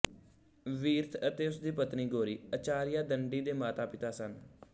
ਵੀਰਥ ਅਤੇ ਉਸ ਦੀ ਪਤਨੀ ਗੋਰੀ ਆਚਾਰੀਆ ਦੰਡੀ ਦੇ ਮਾਤਾਪਿਤਾ ਸਨ